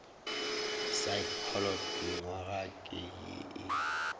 saekholot nywaga ke ye e